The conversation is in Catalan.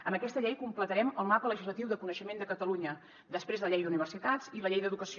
amb aquesta llei completarem el mapa legislatiu del coneixement de catalunya després de la llei d’universitats i la llei d’educació